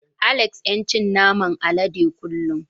Alex yan cin naman alade kullun.